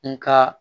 N ka